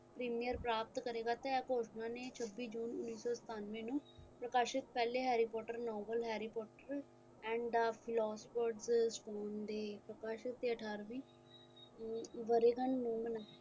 premier ਪ੍ਰਾਪਤ ਕਰੇਗਾ ਤੇ ਇਹ ਘੋਸ਼ਣਾ ਨੇ ਛੱਬੀ june ਉੱਨੀ ਸੌ ਸਤੱਨਵੇ ਨੂੰ ਪ੍ਰਕਾਸ਼ਿਤ ਪਹਿਲੇ harry potter novel harry potter and the philosopher ਦੇ ਪ੍ਰਕਾਸ਼ਿਤ ਤੇ ਅਠਾਰਵੀ ਵਰੇਗੰਢ ਨੂੰ ਮਨਾਈ